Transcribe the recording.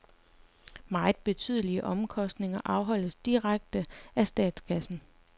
Meget betydelige omkostninger afholdes direkte af statskassen.